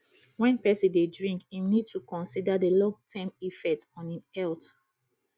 when person dey drink im need to consider di long term effect on im health